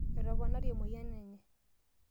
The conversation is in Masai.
etoponari emoyian enye